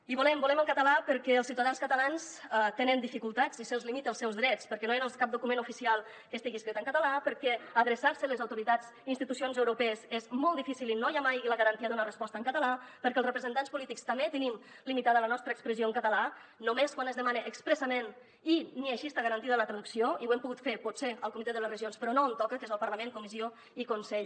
i volem el català perquè els ciutadans catalans tenen dificultats i se’ls limita els seus drets perquè no hi ha cap document oficial que estigui escrit en català perquè adreçar se a les autoritats i institucions europees és molt difícil i no hi ha mai la garantia d’una resposta en català perquè els representants polítics també tenim limitada la nostra expressió en català només quan es demana expressament i ni així està garantida la traducció i ho hem pogut fer potser al comitè de les regions però no on toca que és al parlament comissió i consell